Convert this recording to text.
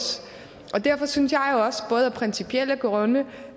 derfor synes jeg jo også både af principielle grunde